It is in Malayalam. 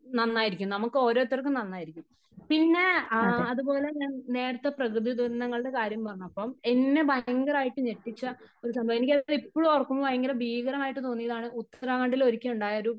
നന്നായിരിക്കും . നമുക്ക് ഒരോരുത്തർക്കും നന്നായിരിക്കും. പിന്നെ അത്പോലെ തന്നെ നേരത്തെ പ്രകൃതി ദുരന്തങ്ങളുടെ കാര്യം പറഞ്ഞപ്പം എന്നെ ഭയങ്കരമായിട്ട് ഞെട്ടിച്ച ഒരു സംഭവം എനിക്കത് ഇപ്പോഴും ഓർക്കുമ്പോ ഭയങ്കര ഭീകരമായിട്ട് തോന്നിയതാണ് ഉത്തരാഖണ്ടിൽ ഒരിക്കം ഉണ്ടായ ഒരു